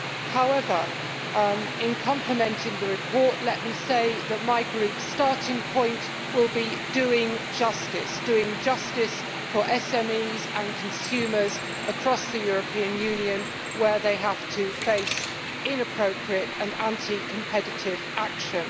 However, in complimenting the report, let me say that my group's starting point will be doing justice' doing justice for SMEs and consumers across the European Union, where they have to face inappropriate and anti competitive action.